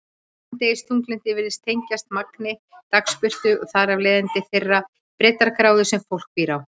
Skammdegisþunglyndi virðist tengjast magni dagsbirtu og þar af leiðandi þeirri breiddargráðu sem fólk býr á.